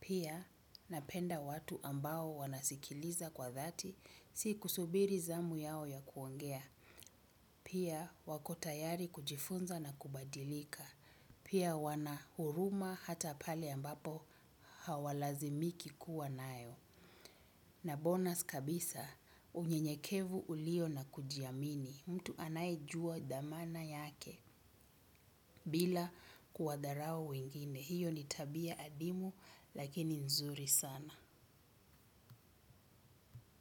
Pia napenda watu ambao wanasikiliza kwa dhati si kusubiri zamu yao ya kuongea. Pia wako tayari kujifunza na kubadilika. Pia wana huruma hata pale ambapo hawalazimiki kuwa nayo. Na bonus kabisa, unyenyekevu ulio na kujiamini, mtu anayejua thamana yake, bila kuwadharau wengine, hiyo ni tabia hadimu lakini nzuri sana.